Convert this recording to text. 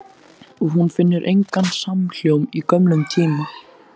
Og hún finnur engan samhljóm í gömlum tíma.